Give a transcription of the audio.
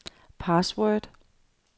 password